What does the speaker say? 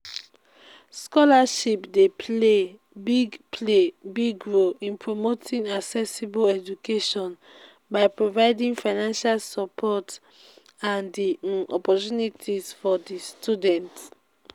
scholarship dey play big play big role in promoting accessible education by providing financial support and di um opportunities for di students.